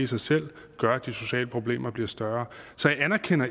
sig selv gør at de sociale problemer bliver større så